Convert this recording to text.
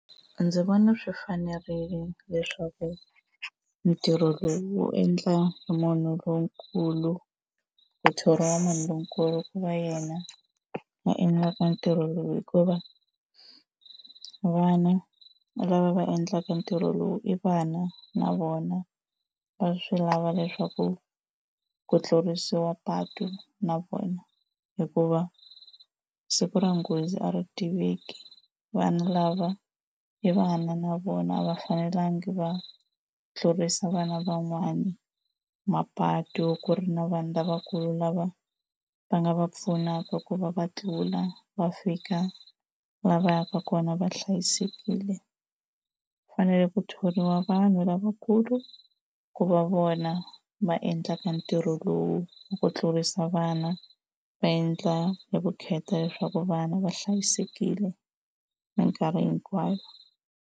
Ndzi vona swi fanerile leswaku ntirho lowu wu endla hi munhu lonkulu, ku thoriwa munhu lonkulu ku va yena va endlaka ntirho lowu hikuva vana lava va endlaka ntirho lowu i vana na vona va swi lava leswaku ku tlurisiwa patu na vona hikuva siku ra nghozi a ri tiveki. Vanhu lava i vana na vona a va fanelanga va tlurisa vana van'wana mapatu ku ri na vanhu lavakulu lava va nga va pfunaka ku va va tlula va fika laha va yaka kona va hlayisekile. Ku fanele ku thoriwa vanhu lavakulu ku va vona va endlaka ntirho lowu, ku tlurisa vana va endla hi vukheta leswaku vana va hlayisekile mikarhi hinkwayo.